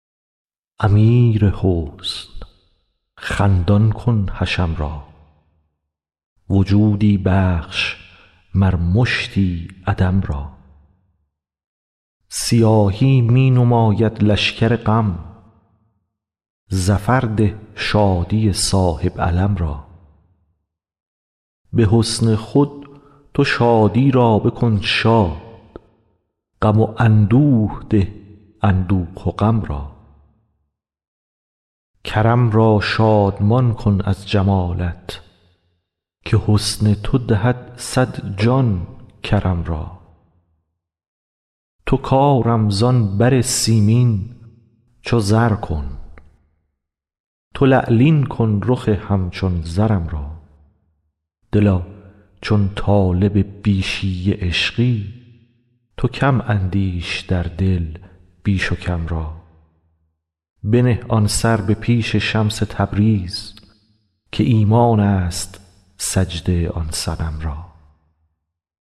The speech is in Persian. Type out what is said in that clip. امیر حسن خندان کن حشم را وجودی بخش مر مشتی عدم را سیاهی می نماید لشکر غم ظفر ده شادی صاحب علم را به حسن خود تو شادی را بکن شاد غم و اندوه ده اندوه و غم را کرم را شادمان کن از جمالت که حسن تو دهد صد جان کرم را تو کارم زان بر سیمین چو زر کن تو لعلین کن رخ همچون زرم را دلا چون طالب بیشی عشقی تو کم اندیش در دل بیش و کم را بنه آن سر به پیش شمس تبریز که ایمان ست سجده آن صنم را